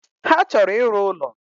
Ha chọrọ ịrụ ụlo